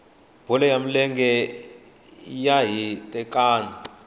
bolo ya milenge xa hitekani